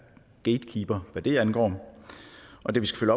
gatekeeper hvad det angår og det vi skal